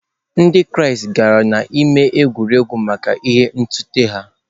Ndị Kraịst gara n’ámá egwuregwu maka agha ntụte ha.